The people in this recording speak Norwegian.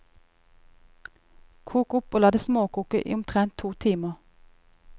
Kok opp og la det småkoke i omtrent to timer.